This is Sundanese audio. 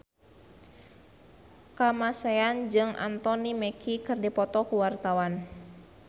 Kamasean jeung Anthony Mackie keur dipoto ku wartawan